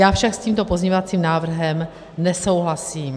Já však s tímto pozměňovacím návrhem nesouhlasím.